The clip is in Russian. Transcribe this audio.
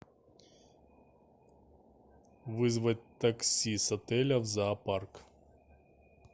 вызвать такси с отеля в зоопарк